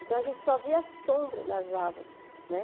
Então, a gente só via a sombra das árvores né.